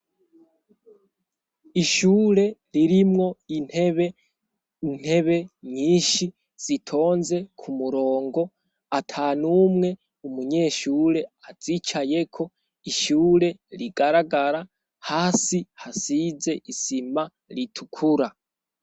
Ishure ririmwo intebe intebe nyinshi zitonze ku murongo ata numwe umunyeshure azicaye ko ishure rigaragara hasi hasize isima ritukura.